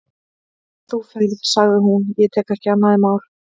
En þú ferð, sagði hún, ég tek ekki annað í mál.